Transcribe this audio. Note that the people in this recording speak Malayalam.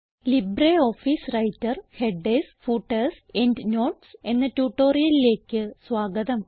LibreOffice Writer Headers footers endnotes എന്ന ട്യൂട്ടോറിയലിലേക്ക് സ്വാഗതം